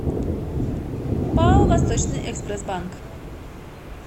пао восточный экспресс банк